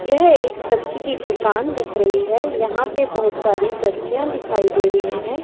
यह एक सब्जी की दुकान दिख रहीं हैं यहां पे बहुत सारी सब्जियां दिखाई दे रहीं हैं।